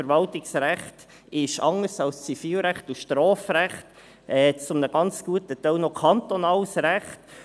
Das Verwaltungsrecht ist anders als das Zivilrecht und das Strafrecht zu einem ganz guten Teil noch kantonales Recht.